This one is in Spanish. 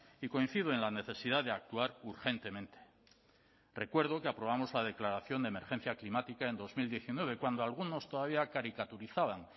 y coincido en la necesidad de actuar urgentemente recuerdo que aprobamos la declaración de emergencia climática en dos mil diecinueve cuando algunos todavía caricaturizaban